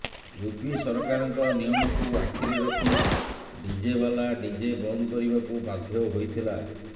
UP ସରକାରଙ୍କ ନିୟମକୁ ଆଖିରେ ରଖି ଡିଜେବାଲା ଡିଜେ ବନ୍ଦ କରିବାକୁ ବାଧ୍ୟ ହୋଇଥିଲା